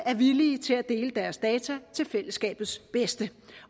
er villige til at dele deres data til fællesskabets bedste